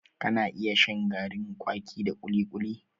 Ka na iya shan garin kwaki da kuli-kuli